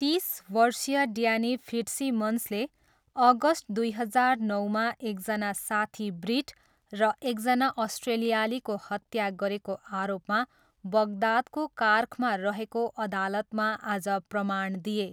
तिस वर्षीय ड्यानी फिट्सिमन्सले अगस्ट दुई हजार नौमा एकजना साथी ब्रिट र एकजना अस्ट्रेलियालीको हत्या गरेको आरोपमा बग्दादको कार्खमा रहेको अदालतमा आज प्रमाण दिए।